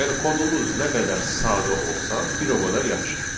Yəni kodumuz nə qədər sadə olsa, bir o qədər yaxşıdır.